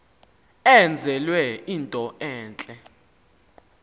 enzelwe into entle